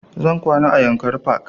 Zan kwana a yankari park